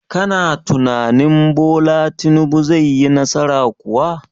Kana tunanin Bola Tinubu zai yi nasara kuwa?